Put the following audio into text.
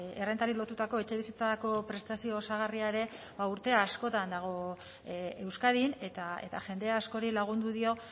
errentari lotutako etxebizitzako prestazio osagarria ere ba urte askotan dago euskadin eta jende askori lagundu dio